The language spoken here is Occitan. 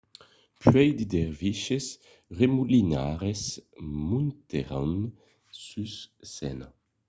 puèi de derviches remolinaires montèron sus scèna